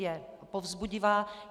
Je povzbudivá.